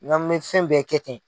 Nga n mɛ fɛn bɛɛ kɛ ten.